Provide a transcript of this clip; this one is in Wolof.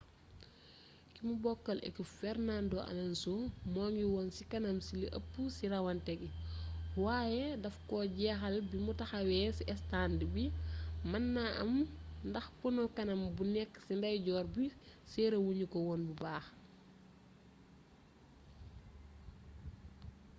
kimu bokkal ekip fernando alonso mu ngi woon ci kanam ci li ëpp ci rawante gi waaye daf koo jeexal bimu taxawee ci estànd bi mën naa am ndax pono kanam bu nekk ci ndeyjoor bu serré wuñu ko woon bu baax